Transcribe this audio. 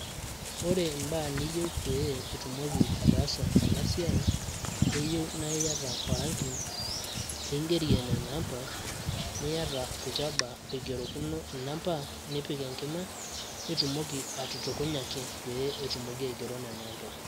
ore ibaa niyieu pee itumoki ataasa ena siai, keyieu naa iyata oranki, ling'erie nena ampa, niyata, nchaba igerokino nena amba, nipik enkima. nitumoki atutukunyaki ,etumiki aigero nena ampa.